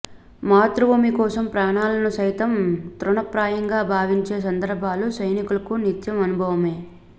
మాతృభూమి కోసం ప్రాణాలను సైతం తృణప్రాయంగా భావించే సందర్భాలు సైనికులకు నిత్యం అనుభవమే